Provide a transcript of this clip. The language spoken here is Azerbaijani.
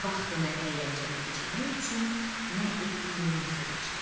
Vaxtını əyləncəli keçirmək üçün nə etdiyindən söz açılır.